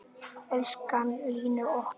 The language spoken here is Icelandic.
Elsku Lillý okkar.